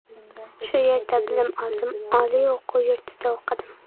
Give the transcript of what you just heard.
Shu yerda bilim oldim, oliy o‘quv yurtida o‘qidim.